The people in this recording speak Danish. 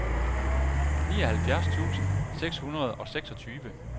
nioghalvfjerds tusind seks hundrede og seksogtyve